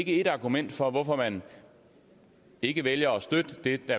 et argument for hvorfor man ikke vælger at støtte det der